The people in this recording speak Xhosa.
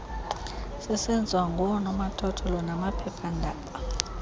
sisenziwa ngoonomathotholo namaphephaandaba